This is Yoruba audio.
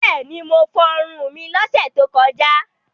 Bẹ́ẹ̀ni, mo fọrun mi lọ́sẹ̀ tó kọjá.